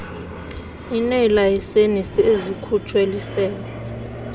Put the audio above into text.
ineelayisenisi ezikhutshwe lisebe